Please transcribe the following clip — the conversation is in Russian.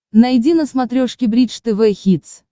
найди на смотрешке бридж тв хитс